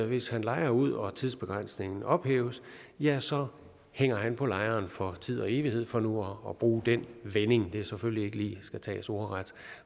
hvis han lejer ud og tidsbegrænsningen ophæves ja så hænger han på lejeren for tid og evighed for nu at bruge den vending det er selvfølgelig ikke lige noget skal tages ordret